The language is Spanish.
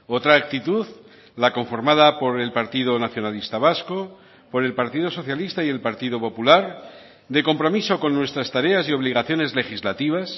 otra actitud la conformada por el partido nacionalista vasco por el partido socialista y el partido popular de compromiso con nuestras tareas y obligaciones legislativas